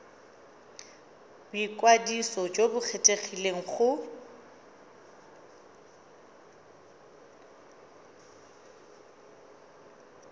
boikwadiso jo bo kgethegileng go